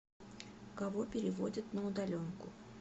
кого переводят на удаленку